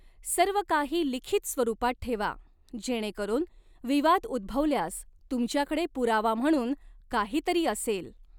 सर्वकाही लिखित स्वरूपात ठेवा, जेणेकरून विवाद उद्भवल्यास तुमच्याकडे पुरावा म्हणून काहीतरी असेल.